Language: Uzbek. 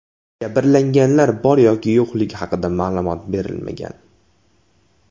Jabrlanganlar bor yoki yo‘qligi haqida ma’lumot berilmagan.